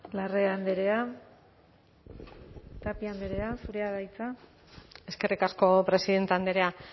larrea andrea tapia andrea zurea da hitza eskerrik asko presidente andrea